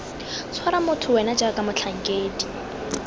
tshwara motho wena jaaka motlhankedi